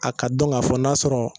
A ka dɔn k'a fɔ n'a sɔrɔ